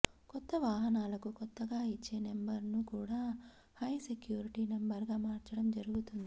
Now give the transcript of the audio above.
కొత్త వాహనాలకు కొత్తగా ఇచ్చే నెంబర్ను కూడా హై సెక్యూరిటీ నెంబర్గా మార్చడం జరుగుతుంది